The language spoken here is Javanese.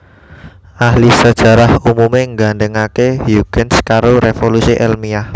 Ahli sajarah umumé nggandhèngaké Huygens karo révolusi èlmiah